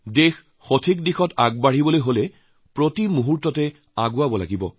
দেশক সঠিক পথত লৈ যোৱাৰ বাবে প্ৰতি মুহূৰ্ততে আগুৱাই হৈছে